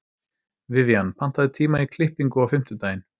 Vivian, pantaðu tíma í klippingu á fimmtudaginn.